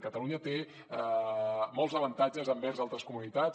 catalunya té molts avantatges envers altres comunitats